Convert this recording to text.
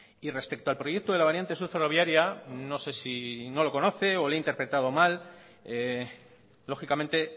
y respecto al proyecto de la variante sur ferroviaria no sé si no lo conoce o le he interpretado mal lógicamente